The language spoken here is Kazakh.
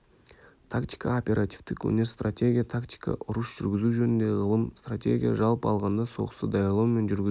тактика оперативтік өнер стратегия тактика ұрыс жүргізу жөніндегі ғылым стратегия жалпы алғанда соғысты даярлау мен жүргізу